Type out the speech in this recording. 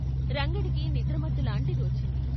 రంగడికి నిద్రమత్తులాంటిది వచ్చింది.